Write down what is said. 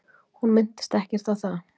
Hún minntist ekkert á það.